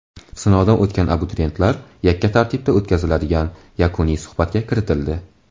Sinovdan o‘tgan abituriyentlar yakka tartibda o‘tkaziladigan yakuniy suhbatga kiritildi.